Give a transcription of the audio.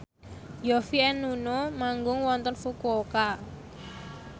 Yovie and Nuno manggung wonten Fukuoka